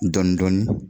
Dɔɔnin dɔɔnin